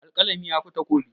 Alƙalami yafi takobi.